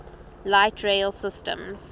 light rail systems